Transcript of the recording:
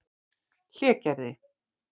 Hlégerði